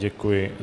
Děkuji.